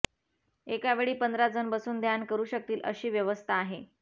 एका वेळी पंधरा जण बसून ध्यान करू शकतील अशी व्यवस्था आहे